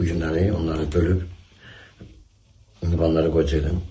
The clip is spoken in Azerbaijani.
Bu günləri onları bölüb, indi onları qoyacaqdım.